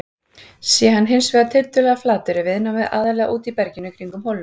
Sé hann hins vegar tiltölulega flatur er viðnámið aðallega úti í berginu kringum holuna.